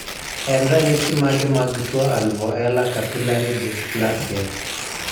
en ranyisi mage mag tuo Alvoela capillary dysplasia